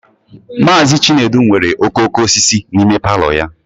Mazị Chinedu nwere okooko osisi n'ime palọ ya